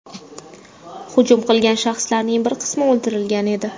Hujum qilgan shaxslarning bir qismi o‘ldirilgan edi.